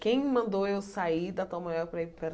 Quem mandou eu sair da Tom Maior para ir para a